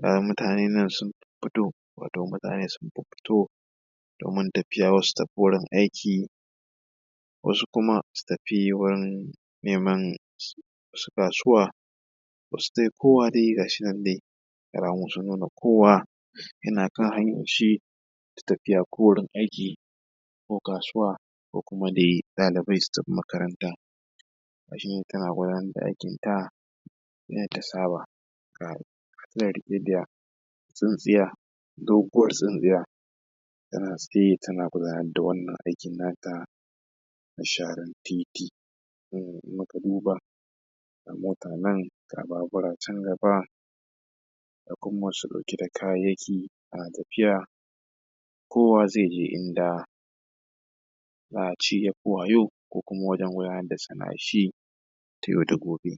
ga mutane nan sun fiffito wato mutane sun fiffito domin tafiya wasu su tafi gurin aiki wasu kuma su tafi wurin neman kasuwa wasu dai kowa dai ga su nan dai alamu sun nuna kowa yana kan hanyan shi su tafiya gurin aiki ko kasuwa ko kuma dai ɗalibai su tafi makaranta ga shi nan tana gudanar da aikinta yadda ta saba ga ta nan riƙe da tsintsiya doguwar tsintsiya tana tsaye tana gudanar da wannan aikin na ta na sharan titi in muka duba ga mota nan ga babura can gaba ga kuma masu ɗauke da kayayyaki na tafiya kowa za ya je inda za a ce ya fi wa yau ko kuma inda yake gudanar da sana’an shi ta yau da gobe